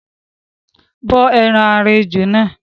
bó ẹran ara ejò náà